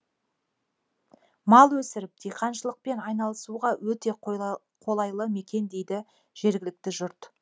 мал өсіріп диқаншылықпен айналысуға өте қолайлы мекен дейді жергілікті жұрт